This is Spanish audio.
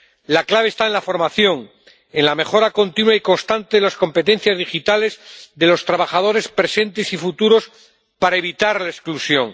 La clave está en la formación, en la mejora continua y constante de las competencias digitales de los trabajadores presentes y futuros para evitar la exclusión.